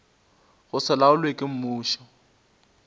go se laolwe ke mmušo